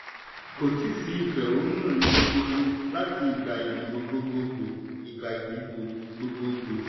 kò tí sí ìfẹ̀hónúhàn ibi gbogbo láti ìgbà ìdìbò gbogboogbo. ìgbà ìdìbò gbogboogbo.